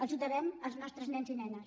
els ho devem als nostres nens i nenes